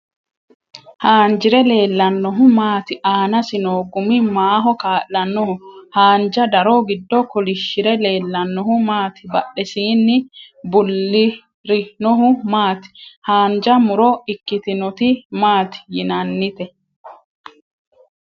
Haanjire leellannohu maati? Aanasi noo gumi maaho kaa'lannoho? Haanja daro giddo kolishire leellannohu maati? Badhesiinni bullirinohu maati? Haanja mu'ro ikkitinoti maati yinannite?